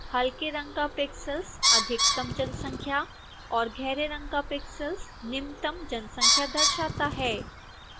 हल्के रंग का pixels अधिकतम जनसंख्या और गहरे रंग का pixels निम्नतम जनसंख्या दर्शाता है